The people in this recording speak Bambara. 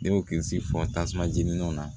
Ne y'o kilisi fɔ tasuma jeni na